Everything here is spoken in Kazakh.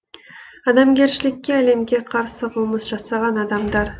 адамгершілікке әлемге қарсы қылмыс жасаған адамдар